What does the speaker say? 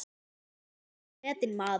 Hann var mikils metinn maður.